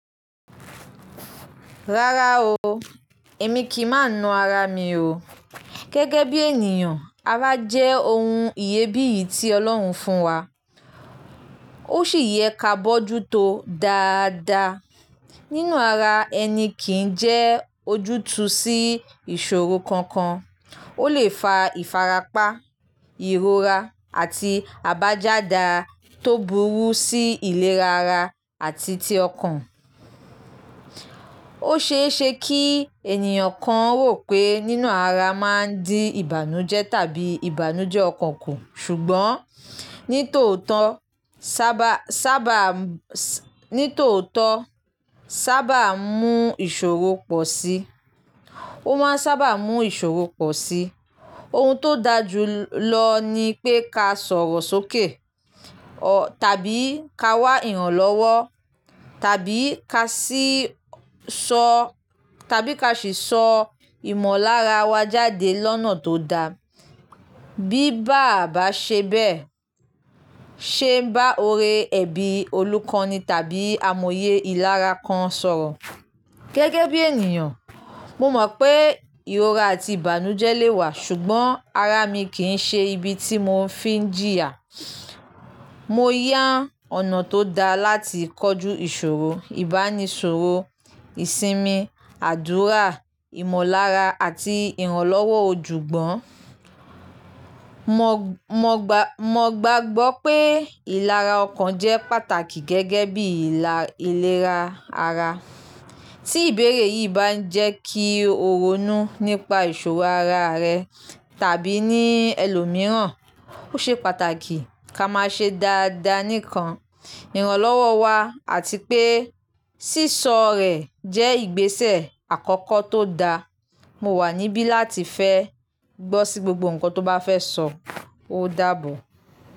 Rárá o, èmi kì í má nu ara mi o. Gẹ́gẹ́ bí ènìyàn, ara jẹ́ ohun ìyè bíìyì tí Ọlọ́run fún wa, ó sì yẹ ká bójú tó dáa dáa. Nínú ara ẹni kì í jẹ́ ojútùú sí ìṣòro kankan. Ó lè fa ìfarapa, ìrora àti àbájáda tó burú sí ìlera ara àti ti ọkàn. Ó ṣe é ṣe kí ènìyàn kan rò pé nína ara máa ń di ìbànújẹ́ tàbí ìbànújẹ́ ọkàn kù, ṣùgbọ́n ní tòótọ́ sábà sábà sì ni tòótọ́ sábà ń mú ìṣòro pọ̀ sí i. Ó máa ń sábà ń mú ìṣòro pọ̀ sí ohun tó da jù lọ ni pé ká sọ̀rọ̀ sókè ọ tàbí ká wá ìrànlọ́wọ́, tàbí tàbí ká sì sọ ìmọ̀lára wa jáde lọ́nà tó da. Bí bàa bà ṣe bẹ́ẹ̀ ṣé bá ọ̀rẹ́ ẹbí, olùkọ́ni tàbí amòye ìlára kan sọ̀rọ̀. Gẹ́gẹ́ bí ènìyàn, mo mọ̀ pé ìrora àti ìbànújẹ́ lè wà, ṣùgbọ́n ara mi kì í ṣe ibi tí mo fi ń jìyà. Mo yá ọ̀nà tó da láti kọjú ìṣòro, ìbánisọ̀rọ̀, ìsinmi, àdúrà, ìmọ̀lára àti ìrànlọ́wọ́ ojúgbọ́n. Mo gbàgbọ́ pé ìlera ọkàn jẹ́ pàtàkì gẹ́gẹ́ bí ìlera ara. Tí ìbéèrè yìí bá ń jẹ́ kí o ronú nípa ìṣòro ara rẹ tàbí ní ẹlòmíràn, ó ṣe pàtàkì ká má ṣe dáa dáa nìkan ìrànlọ́wọ́ wa àti pé sísọ rẹ̀ jẹ́ ìgbésẹ̀ àkọ́kọ́ tó da. Mo wà níbí láti fẹ́ gbọ́ sí gbogbo nǹkan tó bá fẹ́ sọ, ó dáàbò.